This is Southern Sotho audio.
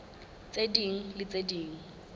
tse ding le tse ding